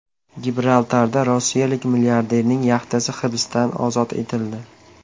Gibraltarda rossiyalik milliarderning yaxtasi hibsdan ozod etildi.